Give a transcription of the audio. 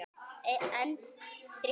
En drykkju